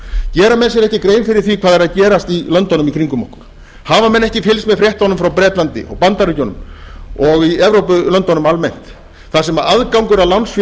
gera menn sér ekki grein fyrir því hvað er að gerast í löndunum í kringum okkur hafa menn ekki fylgst með fréttum frá bretlandi og bandaríkjunum og í evrópulöndunum almennt þar sem aðgangur að lánsfé